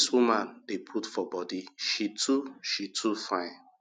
wetin dis woman dey put for body she too she too fine